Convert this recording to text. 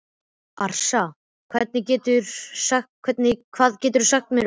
Arisa, hvað geturðu sagt mér um veðrið?